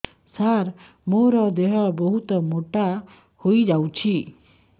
ସାର ମୋର ଦେହ ବହୁତ ମୋଟା ହୋଇଯାଉଛି